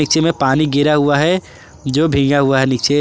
पीछे में पानी गिरा हुआ है जो भींगा हुआ है नीचे।